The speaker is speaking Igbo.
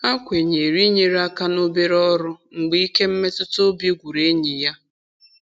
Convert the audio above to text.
Ha kwenyere inyere aka n'obere ọrụ mgbe ike mmetụtaobi gwụrụ enyi ya.